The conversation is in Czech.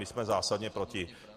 My jsme zásadně proti.